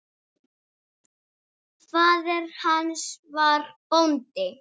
Faðir hans var bóndi.